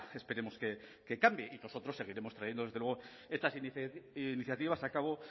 esperemos que cambie y nosotros seguiremos trayendo desde luego estas iniciativas a cabo